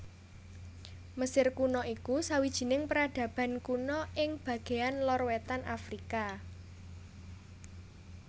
Mesir Kuna iku sawijining peradaban kuna ing bagéan lor wétan Afrika